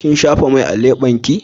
Kin shafa mai a lebenki?